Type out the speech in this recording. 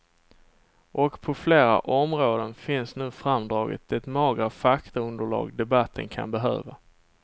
Och på flera områden finns nu framdraget det magra faktaunderlag debatten kan behöva.